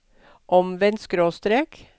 omvendt skråstrek